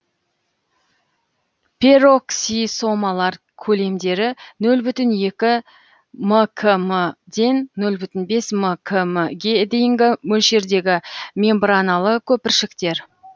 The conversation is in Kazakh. пероксисомалар көлемдері нөл бүтін екі мкм ден нөл бүтін бес мкм ге дейінгі мөлшердегі мембраналы көпіршіктер